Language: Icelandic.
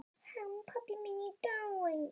Hann pabbi minn er dáinn.